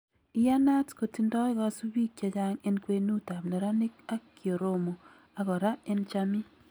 Iyanat kotindo kasubik chechang en kwenut ab neranik ab Kioromo ak kora en chamii